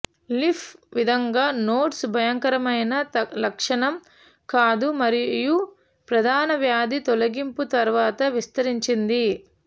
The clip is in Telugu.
లింఫ్ విధంగా నోడ్స్ భయంకరమైన లక్షణం కాదు మరియు ప్రధాన వ్యాధి తొలగింపు తర్వాత విస్తరించింది